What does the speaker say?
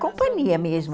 Companhia mesmo.